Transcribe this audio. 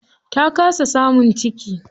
Ta kasa samun ciki.